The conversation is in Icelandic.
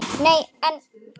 Nei, en.